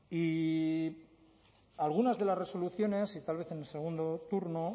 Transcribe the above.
y algunas de las resoluciones y tal vez en el segundo turno